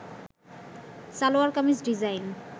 salwar kameez design